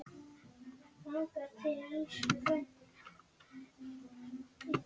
Gyðu en vonaði samt að ég rækist aldrei á hana.